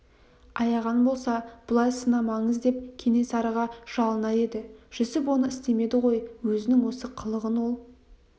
аяған болса бұлай сынамаңыз деп кенесарыға жалынар еді жүсіп оны істемеді ғой өзінің осы қылығын ол